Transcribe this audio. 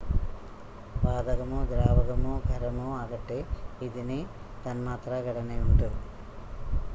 വാതകമോ ദ്രാവകമോ ഖരമോ ആകട്ടെ ഇതിന് തന്മാത്രാ ഘടനയുണ്ട്